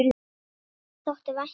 Þér þótti vænt um það.